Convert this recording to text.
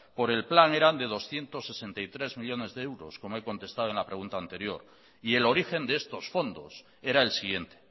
por el plan era de doscientos sesenta y tres millónes de euros como he contestado en la pregunta anterior y el origen de estos fondos era el siguiente